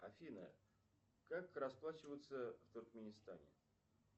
афина как расплачиваться в туркменистане